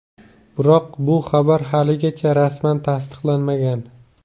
Biroq bu xabar haligacha rasman tasdiqlanmagan.